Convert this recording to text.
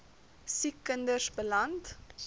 siek kinders beland